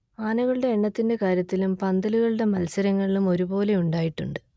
ആനകളൂടെ എണ്ണത്തിന്റെ കാര്യത്തിലും പന്തലുകളൂടെ മത്സരങ്ങളിലും ഒരു പോലെ ഉണ്ടായിട്ടുണ്ട്